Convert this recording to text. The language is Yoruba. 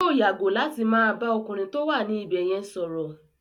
Yóò yàgò láti má bà á ọkùnrin tó wà ní ibẹ̀ yẹn sọ̀rọ̀.